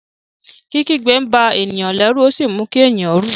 Kikigbe nba eniyan lérù o si mú kí ènìyàn rú.